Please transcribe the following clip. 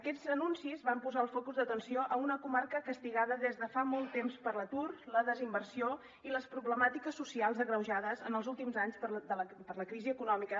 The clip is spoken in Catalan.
aquests anuncis van posar el focus d’atenció a una comarca castigada des de fa molt temps per l’atur la desinversió i les problemàtiques socials agreujades en els últims anys per la crisi econòmica